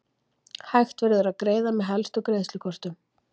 Hægt verður að greiða með helstu greiðslukortum.